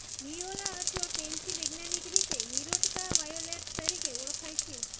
viola અથવા pansy વૈજ્ઞાનિક રીતે વિરોટકા વાયોલેટ તરીકે ઓળખાય છે